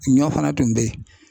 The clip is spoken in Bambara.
Ɲɔ fana tun be yen.